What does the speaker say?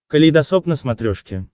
калейдосоп на смотрешке